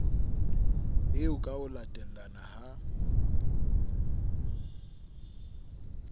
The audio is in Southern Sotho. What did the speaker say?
eo ka ho latellana ha